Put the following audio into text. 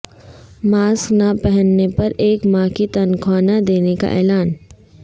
mask نہ پہننے پر ایک ماہ کی تنخواہ نہ دینے کا اعلان